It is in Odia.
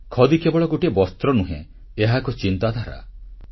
ଖଦୀ କେବଳ ଗୋଟିଏ ବସ୍ତ୍ର ନୁହେଁ ଏହା ଏକ ଚିନ୍ତାଧାରା